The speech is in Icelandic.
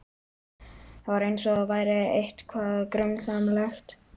Það var eins og það væri eitthvað grunsamlegt.